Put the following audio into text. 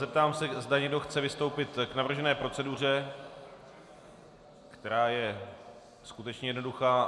Zeptám se, zda někdo chce vystoupit k navržené proceduře, která je skutečně jednoduchá.